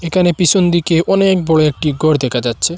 একানে পিসন দিকে অনেক বড় একটি গর দেকা যাচ্ছে।